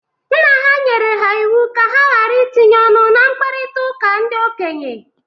Nna ha nyere ha iwu ka ha gara itinye ọnụ na mkparịtaụka ndị okenye.